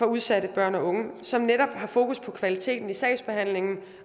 udsatte børn og unge som netop har fokus på kvaliteten i sagsbehandlingen